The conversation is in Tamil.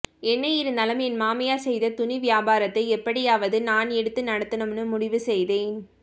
என்ன இருந்தாலும் என் மாமியார் செய்த துணி வியாபாரத்தை எப்படியாவது நான் எடுத்து நடத்தணும்ன்னு முடிவு செய்தேன்